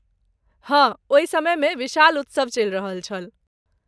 हँ, ओहि समयमे विशाल उत्सव चलि रहल छल।